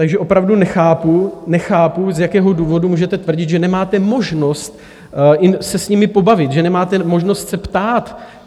Takže opravdu nechápu, nechápu, z jakého důvodu můžete tvrdit, že nemáte možnost se s nimi pobavit, že nemáte možnost se ptát.